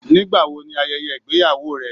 Nígbàwó ní ayẹyẹ igbeyàwó rẹ?